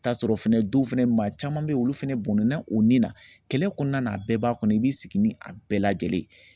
T'a sɔrɔ fɛnɛ dɔw fɛnɛ maa caman be ye olu fɛnɛ bɔnna o ni na kɛlɛ kɔnɔna na a bɛɛ b'a kɔnɔ i b'i sigi ni a bɛɛ lajɛlen ye